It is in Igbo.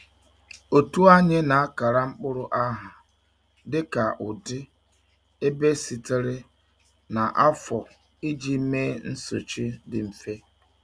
Otu anyị na-akara mkpụrụ aha dịka ụdị, ebe sitere, na afọ iji mee nsochi dị mfe.